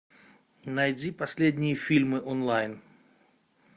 найди последние фильмы онлайн